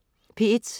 P1: